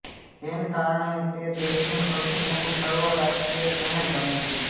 જેન કારણે તે દેશનું સૌથી મોટું સર્વરાષ્ટ્રીય શહેર બને છે